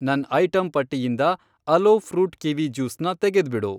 ನನ್ ಐಟಂ ಪಟ್ಟಿಯಿಂದ aloe fruit kiwi juice ನ ತೆಗೆದ್ಬಿಡು.